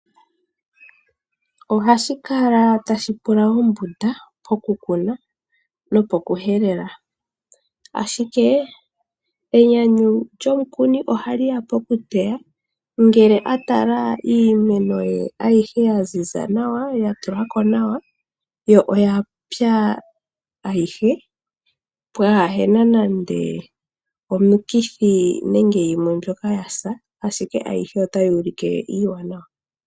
Ohashi kala tashi pula ombunda po ku kuna nopokuhelela ashike enyanyu lyomukuni ohali ya po ku teya ngele a tala iimeno ye ayihe ya ziza nawa, ya tula ko nawa yo oya pya ayihe pwaahena nande omikithi nenge yimwe mbyoka ya sa, ashike ayihe otayi ulike iiwanawa.